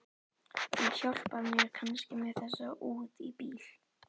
Þú hjálpar mér kannski með þessa út í bíl?